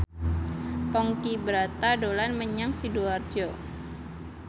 Ponky Brata dolan menyang Sidoarjo